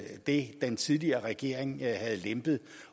det den tidligere regering havde lempet